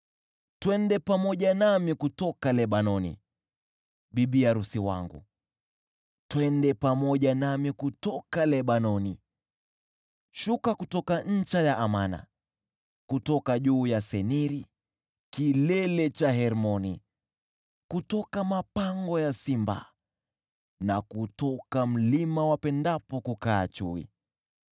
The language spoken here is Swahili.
Enda nami kutoka Lebanoni, bibi arusi wangu, enda nami kutoka Lebanoni. Shuka kutoka ncha ya Amana, kutoka juu ya Seniri, kilele cha Hermoni, kutoka mapango ya simba na kutoka mlima wapendapo kukaa chui.